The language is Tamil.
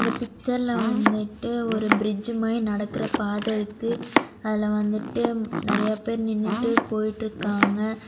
இந்த பிச்சர்ல வந்துட்டு ஒரு பிரிட்ஜ் மாரி நடக்கற பாத இருக்கு அதுல வந்துட்டு நிறைய பேரு நின்னுட்டு போயிட்டுருக்காங்க.